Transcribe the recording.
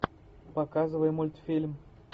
показывай мультфильм